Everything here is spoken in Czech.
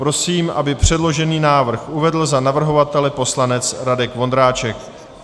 Prosím, aby předložený návrh uvedl za navrhovatele poslanec Radek Vondráček.